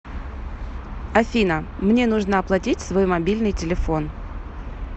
афина мне нужно оплатить свой мобильный телефон